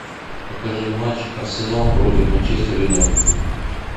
покажи матч арсенал против манчестер юнайтед